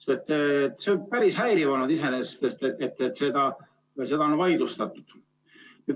See on iseenesest päris häiriv olnud, et seda on vaidlustatud.